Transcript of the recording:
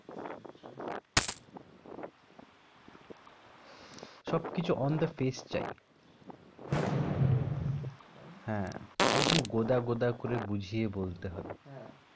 সবকিছ On the face চাই On the face হ্যাঁ একদম গোদা গোদা করে বুঝিয়ে বলতে হবে। হ্যাঁ।